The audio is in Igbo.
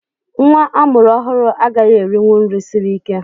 Nnwa a mụrụ ọhụrụ agaghị erinwu nri siri ike